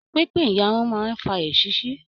Pínpín iyarun máa n fà èsisi.